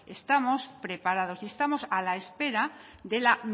estamos preparados y estamos a la espera de la